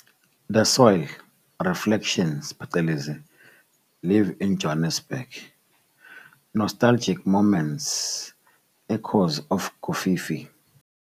The Soil, Reflections-, Live In Joburg, Nostalgic Moments, Echoes of Kofifi